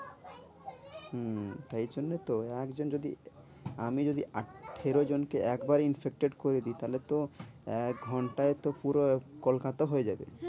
হম তাই জন্য তো এক জন যদি আমি যদি আঠেরো জনকে একবারে infected করে দি তাহলে তো একঘন্টায় তো পুরো কলকাতা হয়ে যাবে।